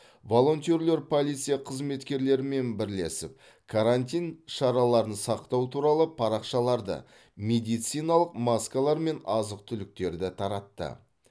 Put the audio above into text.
волонтерлер полиция қызметкерлерімен бірлесіп карантин шараларын сақтау туралы парақшаларды медициналық маскалар мен азық түліктерді таратты